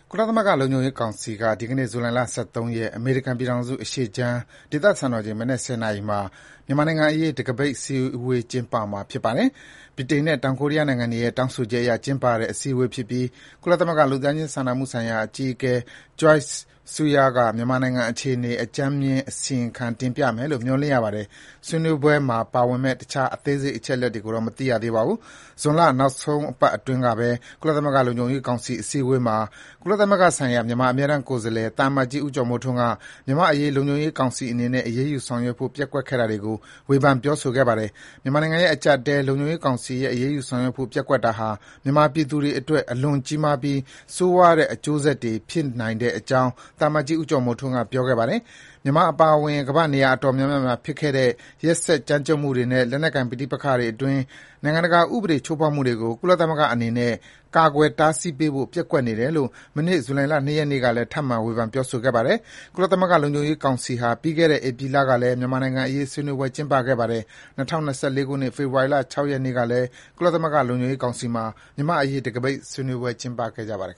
ကုလသမဂ္ဂ လုံခြုံရေးကောင်စီမှာ ဒီနေ့ ဗုဒ္ဓဟူးနေ့ အမေရိကန်ပြည်ထောင်စု အရှေ့ခြမ်း စံတော်ချိန် မနက် ၁၀ နာရီမှာ တံခါးပိတ်အစည်းအဝေး ကျင်းပဖို့ စီစဉ်နေပါတယ်။ ဗြိတိန်နဲ့ တောင်ကိုရီးယားနိုင်ငံတွေရဲ့ တောင်းဆိုချက်အရ ကျင်းပတဲ့ အစည်းအဝေး ဖြစ်ပြီး ကုလသမဂ္ဂ လူသားချင်း စာနာမှုဆိုင်ရာ အကြီးအကဲ Joyce Msuya က မြန်မာနိုင်ငံ အခြေအနေကို အစီရင်ခံ တင်ပြမယ်လို့ ခန့်မှန်းရပါတယ်။ ဆွေးနွေးပွဲ အသေးစိတ်ကိုတော့ မသိရသေးပါဘူး။ ဇွန်လ နောက်ဆုံးပတ်အတွင်းကပဲ ကုလသမဂ္ဂ လုံခြုံရေးကောင်စီအစည်းအဝေးမှာ ကုလသမဂ္ဂဆိုင်ရာ မြန်မာအမြဲတမ်းကိုယ်စားလှယ် သံအမတ်ကြီး ဦးကျော်မိုးထွန်းက မြန်မာ့အရေး လုံခြုံရေးကောင်စီအနေနဲ့ အရေးယူ ဆောင်ရွက်ဖို့ ပျက်ကွက်ခဲ့တာတွေကို ဝေဖန်ပြောဆိုခဲ့ပါတယ်။ မြန်မာနိုင်ငံရဲ့ အကျပ်အတည်း လုံခြုံရေးကောင်စီရဲ့ အရေးယူဆောင်ရွက်ဖို့ ပျက်ကွက်တာဟာ မြန်မာပြည်သူတွေအတွက် အလွန်ကြီးမာပြီး ဆိုးရွားတဲ့ အကျိုးဆက်တွေ ဖြစ်နိုင်တဲ့အကြောင်း သံအမတ်ကြီး ဦးကျော်မိုးထွန်းက ပြောခဲ့တာပါ။ မြန်မာအပါအဝင် ကမ္ဘာ့နေရာအတော်များများမှာဖြစ်ခဲ့တဲ့ ရက်စက်ကြမ်းကြုတ်မှုတွေနဲ့ လက်နက်ကိုင်ပဋိပက္ခအတွင်း နိုင်ငံတကာဥပဒေချိုးဖောက်မှုတွေကို ကုလသမဂ္ဂအနေနဲ့ ကာကွယ်တားဆီးပေးဖို့ ပျက်ကွက်နေတယ်လို့ မနေ့ကလည်း ထပ်မံ ဝေဖန်ပြောဆိုပါတယ်။ ကုလသမဂ္ဂလုံခြုံရေး ကောင်စီဟာ ပြီးခဲ့တဲ့ ဧပြီလအတွင်းကလည်း မြန်မာနိုင်ငံအရေး ဆွေးနွေးပွဲ ကျင်းပခဲ့ပါတယ်။ ၂၀၂၄ ခုနှစ် ဖေဖေါ်ဝါရီလ ၆ ရက်နေ့ကလည်း ကုလသမဂ္ဂ လုံခြုံရေးကောင်စီမှာ မြန်မာ့အရေး တံခါးပိတ် ဆွေးနွေးပွဲ ကျင်းပခဲ့ပါတယ်